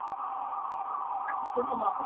ଶୁଣୁନ